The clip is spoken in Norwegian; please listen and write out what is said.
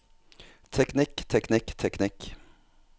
teknikk teknikk teknikk